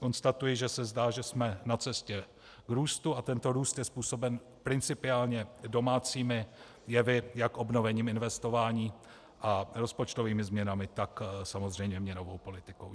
Konstatuji, že se zdá, že jsme na cestě k růstu, a tento růst je způsoben principiálně domácími jevy, jak obnovením investování a rozpočtovými změnami, tak samozřejmě měnovou politikou.